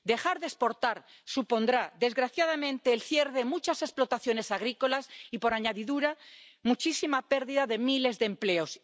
Dejar de exportar supondrá, desgraciadamente, el cierre de muchas explotaciones agrícolas y, por añadidura, una pérdida de miles de empleos.